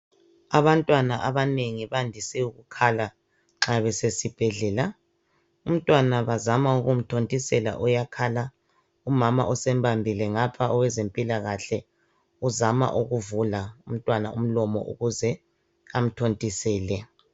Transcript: Abantwana abanengi bandise ukukhala nxa besesibhedlela. Umntwana bazama ukumthonthisela uyakhala, umama usembambile ngapha owezempilakhle uzama ukuvula umntwana umlomo ukuze amthontisele